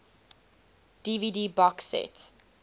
dvd box set